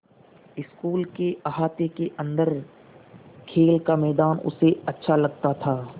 school के अहाते के अन्दर खेल का मैदान उसे अच्छा लगता था